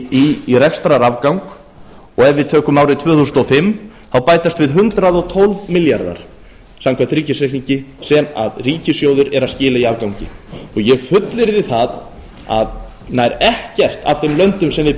í rekstrarafgang ef við tökum árið tvö þúsund og fimm þá bætast við hundrað og tólf milljarðar samkvæmt ríkisreikningi sem að ríkissjóður er að skila í afgangi ég fullyrði að nær ekkert af þeim löndum sem við